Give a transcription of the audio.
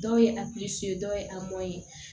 Dɔw ye a dɔw ye ye